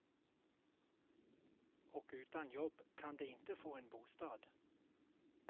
Och utan jobb kan de inte få en bostad.